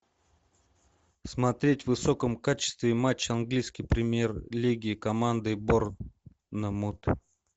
смотреть в высоком качестве матч английской премьер лиги команды борнмут